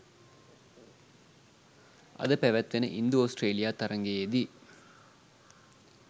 අද පැවැත්වෙන ඉන්දු ඔස්ට්‍රේලියා තරගයේදී